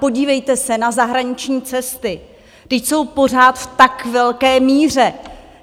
Podívejte se na zahraniční cesty - vždyť jsou pořád v tak velké míře!